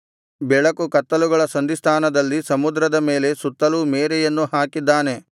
ಬೆಳಕು ಕತ್ತಲುಗಳ ಸಂಧಿಸ್ಥಾನದಲ್ಲಿ ಸಮುದ್ರದ ಮೇಲೆ ಸುತ್ತಲೂ ಮೇರೆಯನ್ನೂ ಹಾಕಿದ್ದಾನೆ